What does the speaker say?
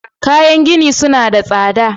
Kayan gini suna tsada.